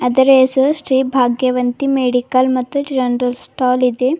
ಅದರ ಹೆಸರು ಶ್ರೀ ಭಾಗ್ಯವಂತಿ ಮೆಡಿಕಲ್ ಮತ್ತು ಜನರಲ್ ಸ್ಟಾಲ್ ಇದೆ.